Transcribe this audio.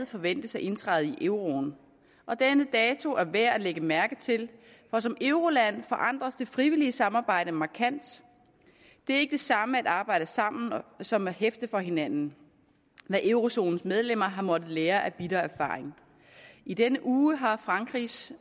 forventes at indtræde i euroen og denne dato er værd at lægge mærke til for som euroland forandres det frivillige samarbejde markant det er ikke det samme at arbejde sammen som at hæfte for hinanden hvad eurozonens medlemmer har måttet lære af bitter erfaring i denne uge har frankrigs